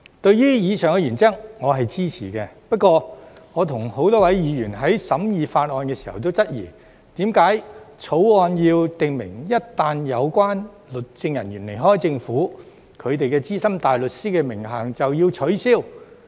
對於以上原則，我是支持的；不過，我與多位議員在審議法案時均質疑，為何《條例草案》要訂明一旦有關律政人員離開政府，他們的資深大律師名銜便要取消。